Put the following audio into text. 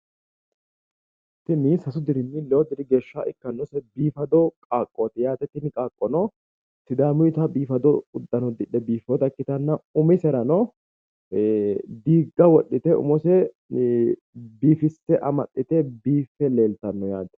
Tini sasu dirinni lewu diri geesha ikkannose biifado qaaqqoti yate tini qaaqqono sidaamuyita biifado udano uddidhe biiffeta ikkitana umiserano diigga wodhite umose biifisse amaxxite biiffe leeltanno yaate